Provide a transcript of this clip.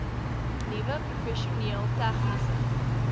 nuwe professioneel tegniese